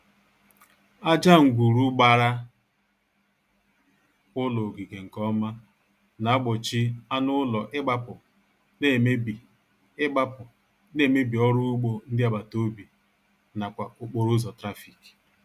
Aja ngwuru gbara ụlọ ogige nkeọma na-gbochi anụụlọ ịgbapụ na-emebi ịgbapụ na-emebi ọrụugbo ndị agbataobi n'akwa okporoụzọ trafik